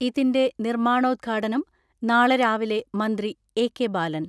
ഇതിന്റെ നിർമ്മാണോദ്ഘാടനം നാളെ രാവിലെ മന്ത്രി എ.കെ ബാലൻ